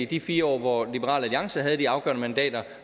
de fire år hvor liberal alliance havde de afgørende mandater